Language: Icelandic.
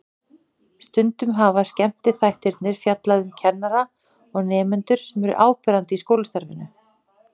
Stundum hafa skemmtiþættirnir fjallað um kennara og nemendur sem eru áberandi í skólalífinu.